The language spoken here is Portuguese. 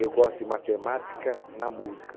Eu gosto de matemática na música.